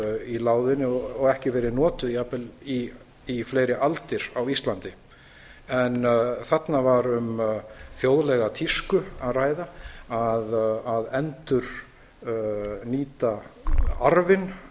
í láginni og ekki verið notuð jafnvel í fleiri aldir á íslandi en þarna var um þjóðlega tísku að ræða að endurnýta orðin